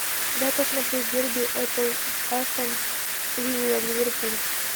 дай посмотреть дерби апл астон вилла ливерпуль